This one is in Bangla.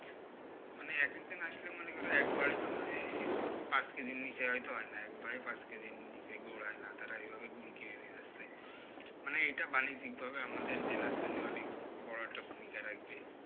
মানে এক একজন আসলে মনে করো একবারে তো মানে এই পাঁচ কেজির নিচে হয়তো হয়না, একবারে পাঁচ কেজির নিচে গুড় হয়না তারা এইভাবে গুড় কিনে নিয়ে যাচ্ছে। মানে এটা বাণিজ্যিকভাবে আমাদের জেলার জন্যে অনেক বড়ো একটা ভূমিকা রাখবে।